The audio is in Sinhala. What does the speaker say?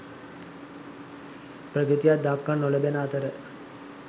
ප්‍රගතියක් දක්නට නොලැබෙන අතර